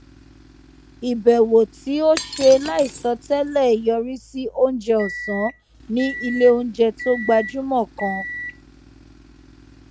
ìbèwò tí ó ṣe láìsọ télè yọrí sí oúnjẹ òsán ní iléoúnjẹ tó gbajúmọ kan